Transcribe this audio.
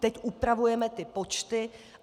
Teď upravujeme ty počty.